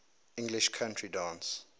english country dance